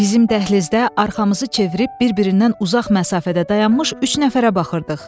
Bizim dəhlizdə arxamızı çevirib, bir-birindən uzaq məsafədə dayanmış üç nəfərə baxırdıq.